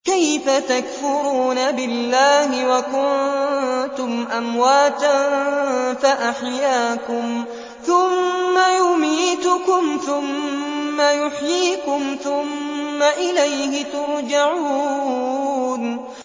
كَيْفَ تَكْفُرُونَ بِاللَّهِ وَكُنتُمْ أَمْوَاتًا فَأَحْيَاكُمْ ۖ ثُمَّ يُمِيتُكُمْ ثُمَّ يُحْيِيكُمْ ثُمَّ إِلَيْهِ تُرْجَعُونَ